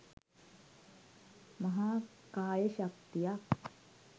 මහා කාය ශක්තියක්